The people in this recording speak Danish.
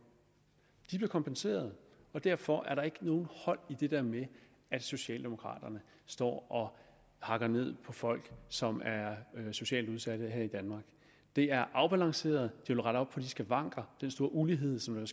de bliver kompenseret og derfor er der ikke noget hold i det der med at socialdemokraterne står og hakker ned på folk som er socialt udsatte her i danmark det er afbalanceret det vil rette op på de skavanker den store ulighed som jo